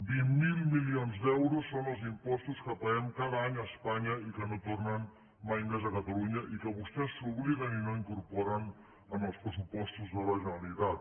vint mil milions d’euros són els impostos que paguem cada any a espanya i que no tornen mai més a catalunya i que vostès s’obliden i no incorporen en els pressupostos de la generalitat